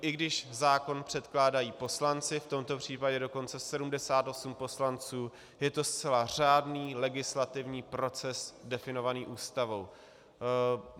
I když zákon předkládají poslanci, v tomto případě dokonce 78 poslanců, je to zcela řádný legislativní proces definovaný Ústavou.